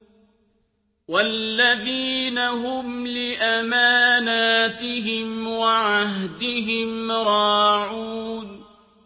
وَالَّذِينَ هُمْ لِأَمَانَاتِهِمْ وَعَهْدِهِمْ رَاعُونَ